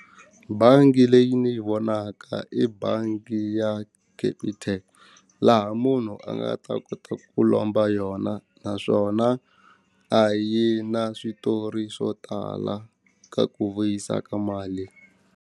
Bangi leyi ni vonaka i bangi ya capitec laha munhu a nga ta kota ku lomba yona naswona a yi na switori swo tala ka ku vuyisa ka mali.